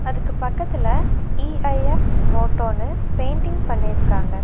அதுக்கு பக்கத்துல இ_ஐ_எப் மோட்டோன்னு பெயிண்ட்டிங் பண்ணிருக்காங்க.